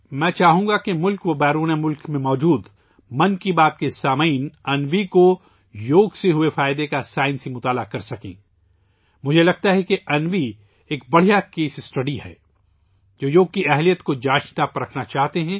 میں چاہوں گا کہ ملک اور بیرون ملک میں موجود ' من کی بات ' کے سامعین انوی کو یوگ سے ہوئے فائدے کا سائنسی مطالعہ کریں، میرے خیال میں انوی ایک بہترین کیس اسٹڈی ہے، ان لوگوں کے لئے ، جو یوگا کی قوت کو جانچنا چاہتے ہیں